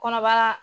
Kɔnɔbara